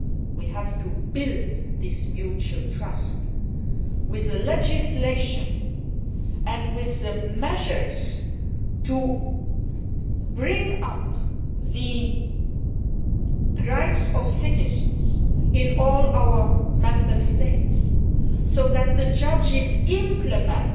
We have to build this mutual trust with the legislation and with the measures to boost the rights of citizens in all our Member States, so that the judges also implement